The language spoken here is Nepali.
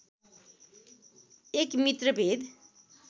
१ मित्रभेद